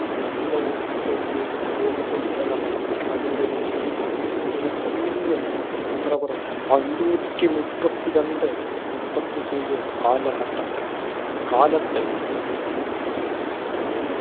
ഇഷിഡോഫ്ത്തിന്റെയും രൂപകല്പനകൾ അനുസരിച്ച് justinian ചക്രവർത്തി അഞ്ഞൂറ്റി മുപ്പത്തിരണ്ട് മുപ്പത്തി ഏഴ് കാലഘട്ടത്തിൽ കാലത്ത്